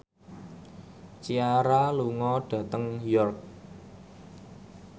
Ciara lunga dhateng York